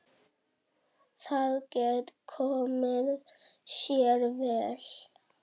Það gæti komið sér vel.